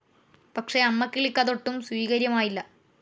പക്ഷേ അമ്മക്കിളിക്ക് അതൊട്ടും സ്വീകര്യമായില്ല.